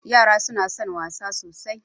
Yara suna son wasa sosai.